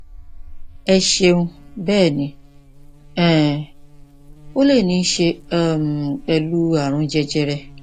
ẹ ṣeun bẹẹ ni um ó lè ní í ṣe um pẹlú ààrùn jẹjẹrẹ